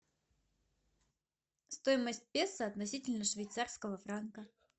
стоимость песо относительно швейцарского франка